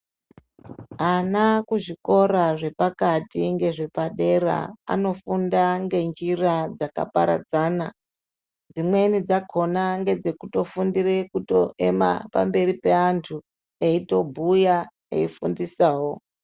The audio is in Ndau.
Ana kuzvikora zvepakati nezvepadera anofunda ngenjira dzakaparadzana dzimweni dzakona ndedze kufundira kuema pamberi peantu eitobhuya eifundisawo.